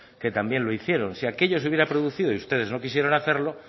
que también lo hicieron si aquello se hubiera producido y ustedes no quisieron hacerlo